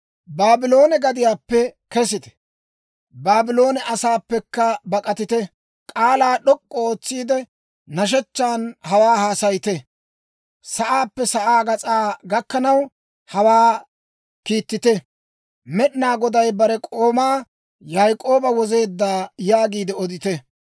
Baabloone gadiyaappe kesite; Baabloone asaappekka bak'atite! K'aalaa d'ok'k'u ootsiide, nashshechchan hawaa haasayite; sa'aappe sa'aa gas'aa gakkanaw, hawaa kiittite. «Med'inaa Goday bare k'oomaa Yaak'ooba wozeedda» yaagiide odite.